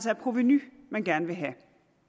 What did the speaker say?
er provenu man gerne vil have